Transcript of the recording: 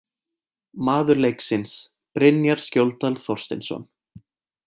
Maður leiksins: Brynjar Skjóldal Þorsteinsson